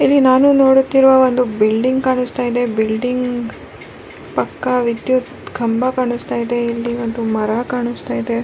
ಇಲ್ಲಿ ನಾನು ನೋಡುತ್ತಿರುವ ಒಂದು ಬಿಲ್ಡಿಂಗ್ ಕಾಣಿಸ್ತಾ ಇದೆ ಬಿಲ್ಡಿಂಗ್ ಪಕ್ಕ ವಿದ್ಯುತ್ ಕಂಬ ಕಾಣಿಸ್ತಿದೆ ಇಲ್ಲಿ ಒಂದು ಮರ ಕಾಣಿಸ್ತಾ ಇದೆ.